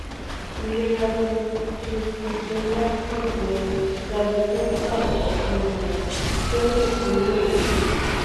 ilera ti schistosomiasis ni praziquintal ọkanara ti o le ti mu eyi